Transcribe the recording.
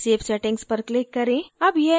save settings पर click करें